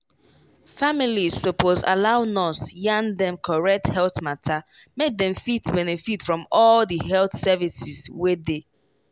families suppose allow nurse yarn dem correct health matter make dem fit benefit from all di health services wey dey.